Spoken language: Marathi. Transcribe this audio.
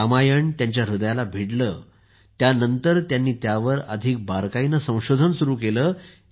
रामायण त्यांच्या हृदयाला भिडले त्यानंतर त्यांनी त्यावर अधिक बारकाईने संशोधन सुरू केले